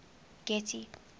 getty